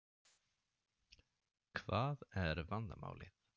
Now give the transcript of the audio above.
Hvað er vandamálið?